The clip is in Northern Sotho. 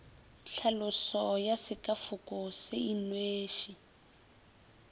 tlhaloso ya sekafoko se inweše